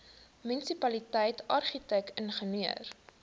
munisipaliteit argitek ingenieur